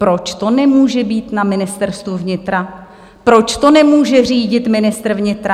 Proč to nemůže být na Ministerstvu vnitra, proč to nemůže řídit ministr vnitra?